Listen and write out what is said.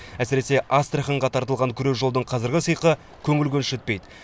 әсіресе астраханьға тартылған күре жолдың қазіргі сиқы көңіл көншітпейді